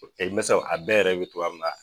mɛ sɔ a bɛɛ yɛrɛ be togoya mun na